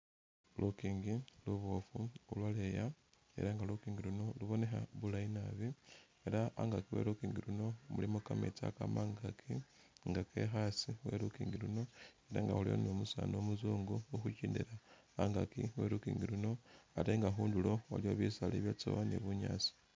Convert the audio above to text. Lukiingi luboofu lu lwaleya ela nga lukiingi luno lubonekha bulayi naabi ela angaki we lukiingi luno mulimo kameetsi akaama angaaki nga keka hasi we lukiingi luno nenga khuliwo ni umusani umuzungu angaki we lukiingi luno ate nga khundulo aliwo bisaala ibyatsowa ni bunyaasi.